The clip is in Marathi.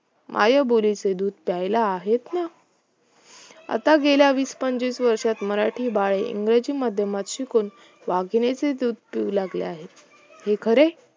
मायबोलीचे दूध प्यायला आहेच ना आता गेल्या वीस पंचवीस वर्षात मराठी बाळे इंग्रजी माध्यमात शिकून वाघिणीचे दूध पिऊ लागली आहेत हे खरे